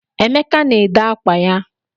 Emeka na-ede ákwá ya.